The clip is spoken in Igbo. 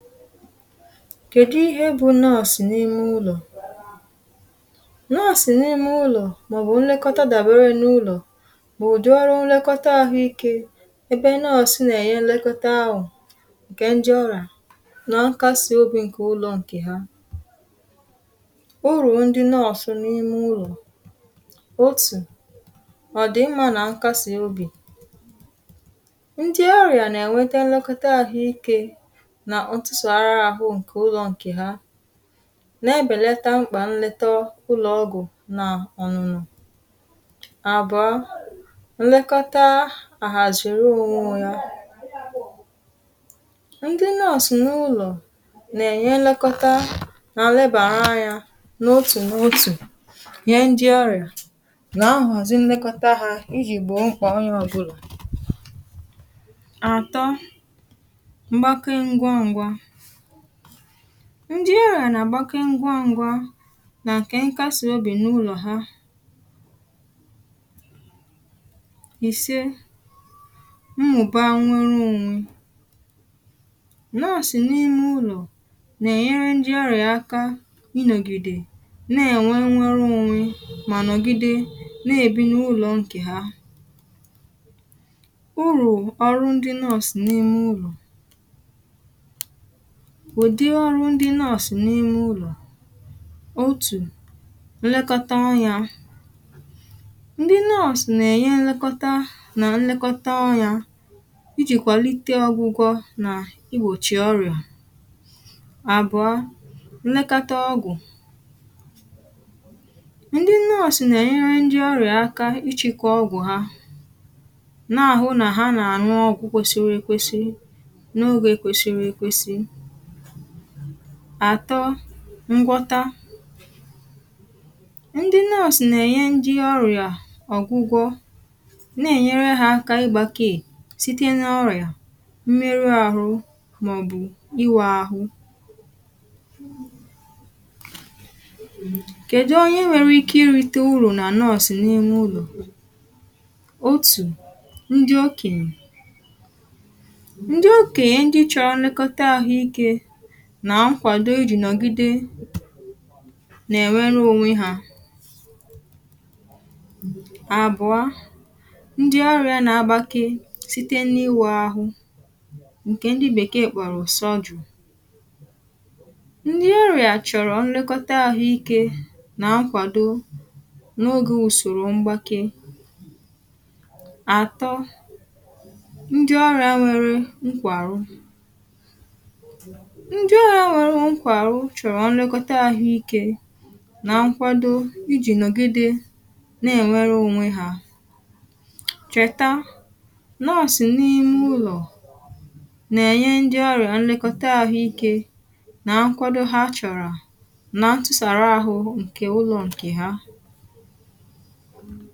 kèdu ihe bụ nọọsụ n’ime ụlọ̀ nọọsụ n’ime ụlọ̀ màọ̀bụ̀ nlekọta dàbere n’ụlọ̀ bụ ụ̀dị ọrụ nlekọta àhụ ikė ebe nọọ̀sụ n’ènye nlekọta ahụ̀ ǹkè ndị ọrịa na nkasi obì ǹkè ụlọ̀ ǹkè ha urù ndị nọọ̀sụ̀ n’ime ụlọ̀ otù ọ̀dị̀ mmȧ nà nkasi obì ndị ọrịà nà-ènwete nlekọta àhụ ikė na ntụsara ahụ ǹke ụlọ̇ ǹkè ha na-ebèleta mkpà nleta ụlọ̀ ọgụ̀ na ọnụnọ̇ àbọ̀ọ nlekọta àhàzị̀rị̀ ụ̀wụ̇ ya ndị nọọ̇sụ̀ n’ụlọ̀ na-enye nlekọta na nlebara anya n’otù n’otù ihe ndị ọrịà na-ahọzị nlekọta ha iji̇gbọ̀ mkpà onye ọbụlọ̀ atọ mgbake ngwa ngwa ndị ọrịa na agbakeụ ya ngwa ngwa nà nkè nkasị̇ obì n’ụlọ̀ ha ìse mmụ̀ba nwere onwee nọọ̀sị̀ n’ime ụlọ̀ nà-ènyere ndị ọrịa akȧ ịnọ̀gide na-ènwe nnwere onwee mà nọ̀gide na-èbi n’ụlọ̀ ǹkè ha urù ọrụ ndị nọọ̀sị̀ n’ime ụlọ̀ ụdi ọrụ ndị nurse nà ime ụlọ̀ otù nlekọta ọnya ndi nurse nà ènye nlekọta nà nlekọta ọnya ijìkwàlite ọgwụgwọ nà igbòchì ọrìa àbụ̀ọ nlekọta ọgwụ̀ ndị nurse nà ènye ndị ọrịa aka ịchịkọ ọgwụ̀ ha na-ahụ nà ha nà àñụ ọgwụ̇ kwesịrị ekwesị n’ogė kwesịrị ekwesị àtọ ngwọta ndị nọọsụ̀ nà-ènye ndị ọrịa ọ̀gwụgwọ na-ènyere ha aka ịgbȧke sịte n’ọrịà mmerụ ahụ màọbụ̀ iwe ahụ pause kèdụ onye nwere ike irite urù nà nọọsụ̀ n’ime ụlọ̀ otù ndị okènyè ndị okènyè ndị chọrọ nlekọta ahụ̀ike nà nkwàdo ijì nọ̀gide nà-ènwere onwe ha àbụ̀a ndị ọrị̇ȧ na-agbake site na ịwèe ahụ ǹkè ndi bèkee kpọrọ surgery ndi ọrị̇ȧ chọ̀rọ̀ nlekọta àhụ ikė nà nkwàdo n’ogė ùsòrò mgbake àtọ ndị ọrị̇ȧ nwèrè nkwàrụ ndị ọrịa nwere nkwàrụ chọrọ nlekọta ahụike na nkwado iji nọgide na-enwere onwe ha cheta nọọsụ n’ime ụlọ̀ na-enye ndị ọrịa nlekọta ahụike na nkwado ha chọrọ na ntụsara ahụ nke ụlọ nke ha